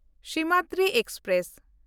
Simhadri express